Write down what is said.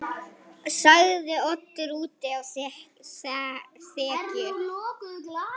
sagði Oddur úti á þekju.